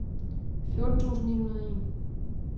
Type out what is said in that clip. fjorten tusind ni hundrede og en